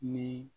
Ni